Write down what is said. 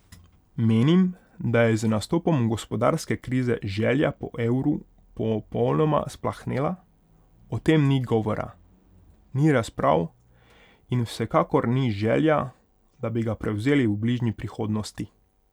Menim, da je z nastopom gospodarske krize želja po evru popolnoma splahnela, o tem ni govora, ni razprav in vsekakor ni želja, da bi ga prevzeli v bližnji prihodnosti.